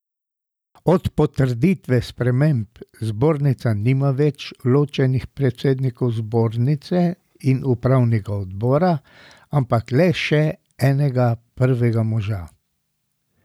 Od potrditve sprememb zbornica nima več ločenih predsednikov zbornice in upravnega odbora, ampak le še enega prvega moža.